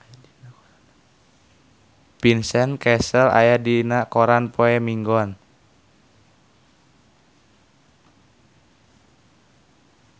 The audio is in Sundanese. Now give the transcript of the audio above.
Vincent Cassel aya dina koran poe Minggon